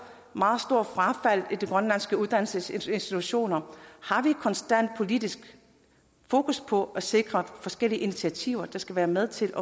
meget stort frafald i de grønlandske uddannelsesinstitutioner konstant har politisk fokus på at sikre forskellige initiativer der skal være med til